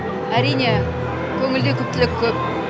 әрине көңілде күптілік көп